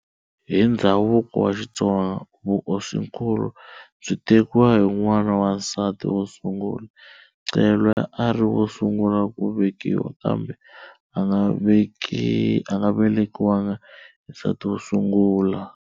Hi ndzhavuko wa Xitsonga, vuhosinkulu byi tekiwa hi n'wana wa nsati wo sungula. Ncelwa a ri wo sungula ku velekiwa kambe a nga velekiwanga hi nsati wo sungula.